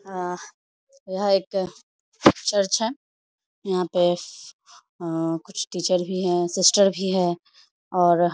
हँ यह एक चर्च है यहाँ पे हँ कुछ टीचर भी हैं सिस्टर भी हैं और --